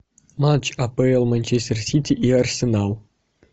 матч апл манчестер сити и арсенал